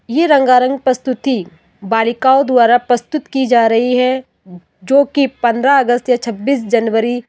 ये रंगारंग प्रस्तुति बालिकाओं द्वारा प्रस्तुत की जा रही है जोकि पन्द्रह अगस्त या छ्ब्बीस जनवरी --